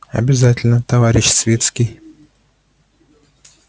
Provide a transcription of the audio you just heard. обязательно товарищ свицкий